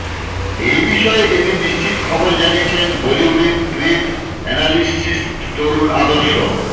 এই বিষয়ে এদিন নিশ্চিত খবর জানিয়েছেন বলিউডের ট্রেড অ্যানালিসিস্ট তরণ আদর্শ